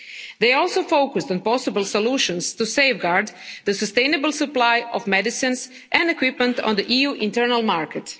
They also focused on possible solutions to safeguard the sustainable supply of medicines and equipment on the EU internal market.